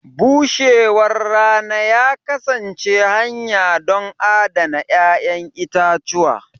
bushewar rana ya kasance hanya don adana 'ya'yan itatuwa.